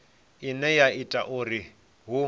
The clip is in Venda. ine ya ita uri hu